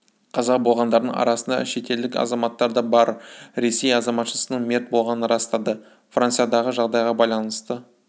қаза болғандардың арасында шетелдік азаматтар да бар ресей азаматшасының мерт болғанын растады франциядағы жағдайға байланысты